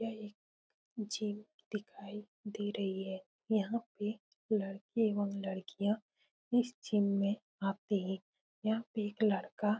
यहाँ एक जिम दिखाई दे रही है। यहाँ पे लड़के और लड़कियां इस जिम में आते हैं। यहाँ पे एक लड़का--